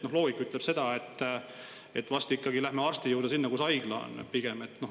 Loogika ütleb seda, et pigem läheme arsti juurde ikka sinna, kus haigla on.